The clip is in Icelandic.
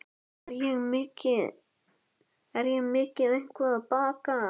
Er ég mikið eitthvað að baka?